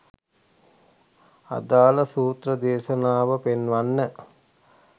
අදාල සූත්‍ර දේශනාව පෙන්වන්න.